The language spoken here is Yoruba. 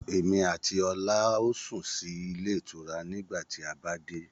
Èmi àti ọlá a ó sún sì ilé ìtura nígbà tí a bá dé.